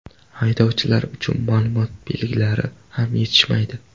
Haydovchilar uchun ma’lumot belgilari ham yetishmaydi.